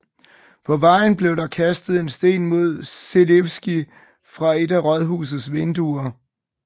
På vejen blev der kastet en sten mod Želivský fra et af rådhusets vinduer